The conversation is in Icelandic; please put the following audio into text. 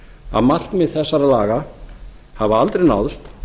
að markmið þessara laga hafa aldrei náðst